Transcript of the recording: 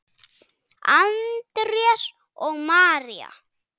Andrés og María.